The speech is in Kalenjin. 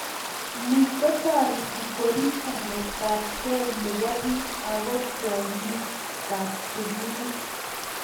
ni kotoreti koriip chametabgei nebo biik ago tyongikab tumin